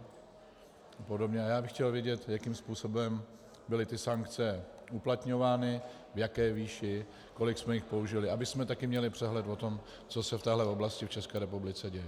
A já bych chtěl vědět, jakým způsobem byly ty sankce uplatňovány, v jaké výši, kolik jsme jich použili, abychom také měli přehled o tom, co se v této oblasti v České republice děje.